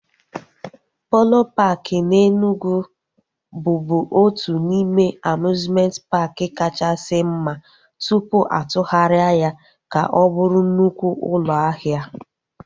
Polo paaki na Enugwu bụbu otu n'ime amiuzmenti paaki kachasị mma tụpụ atụgharịa ya ka ọ bụrụ nnukwu ụlọ ahịa